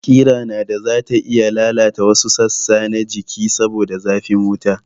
Kira nada zata iya lalata wasu sassa na jiki saboda zafin wuta